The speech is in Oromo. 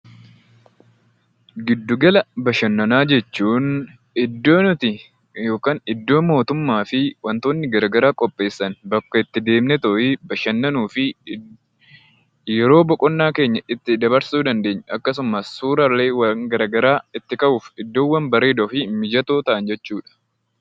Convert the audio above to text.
Gidduu-gala bashannanaa jechuun, iddoo nuti yookaan iddoo mootummaa fi wantootni garaa garaa qopheessan bakka itti deemnee bashannanuu fi yeroo boqqonnaa keenya itti dabarsuu dandeenyu, akkasumas suuraaleewwan gara-garaa itti ka'uuf iddoowwan bareedoo fi mijatoo ta'anidha.